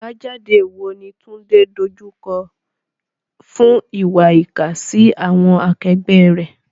Àbájáde wo ni Tunde dojú kọ fún ìwà ìkà sí àwọn akẹgbẹ́ rẹ̀?